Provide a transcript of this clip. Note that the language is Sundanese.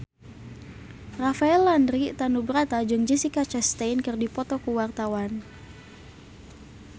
Rafael Landry Tanubrata jeung Jessica Chastain keur dipoto ku wartawan